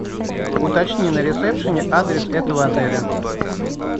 уточни на ресепшене адрес этого отеля